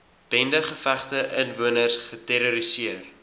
bendegevegte inwoners geterroriseer